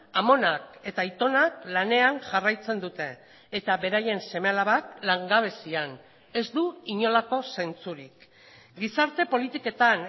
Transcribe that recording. amonak eta aitonak lanean jarraitzen dute eta beraien seme alabak langabezian ez du inolako zentzurik gizarte politiketan